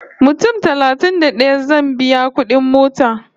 Mutum talatin da ɗaya zan biya kudin mota